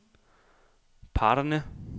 parterne